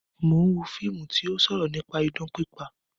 Mo ń wo múfì tí ó sọ̀rọ̀ nípa idán pípa